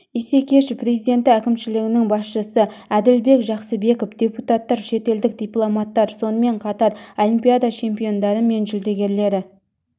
исекешев президенті әкімшілігінің басшысы әділбек жақсыбеков депутаттар шетелдік дипломаттар сонымен қатар олимпиада чемпиондары мен жүлдегерлері